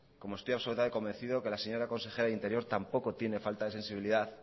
como estoy absolutamente convencido que la señora consejera de interior tampoco tiene falta de sensibilidad